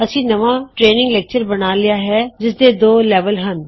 ਅਸੀਂ ਨਵਾਂ training lecture ਬਣਾ ਲਿਆ ਹੈ ਜਿਸ ਦੇ ਦੋ ਲੈਵਲ ਹਨ